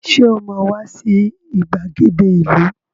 Sọ ma wá sí ìgbàgede ìlú?